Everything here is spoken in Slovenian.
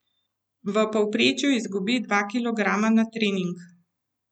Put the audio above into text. V povprečju izgubi dva kilograma na trening.